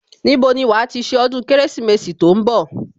Níbo ni wàá ti ṣe ọdún Kérésìmesì tó ń bọ̀